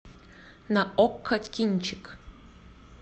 на окко кинчик